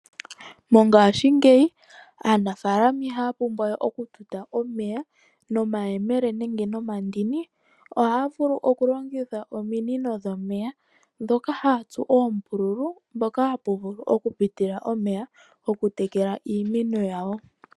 Mongashingeyi aanafalama ihaya pumbwa we okututa nomayele nenge nomandini ohaya vulu okulongitha ominino dhomeya dhoka haya tsu oombululu dhoka haya vulu okupitila omeya okutekela iimeno yawo.